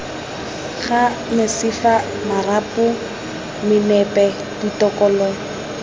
ga mesifa marapo menape ditokololo